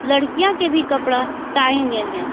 लड़कियां के भी कपड़ा टागे गये हैं।